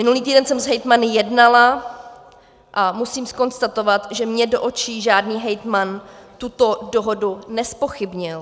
Minulý týden jsem s hejtmany jednala a musím konstatovat, že mně do očí žádný hejtman tuto dohodu nezpochybnil.